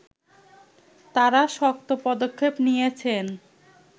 তারা শক্ত পদক্ষেপ নিয়েছেন